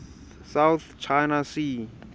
south china sea